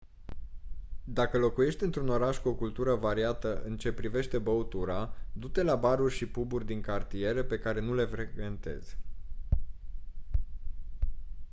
dacă locuiești într-un oraș cu o cultură variată în ce privește băutura du-te la baruri și pub-uri din cartiere pe care nu le frecventezi